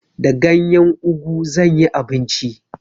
Da ganyen ugu zan yi abinci.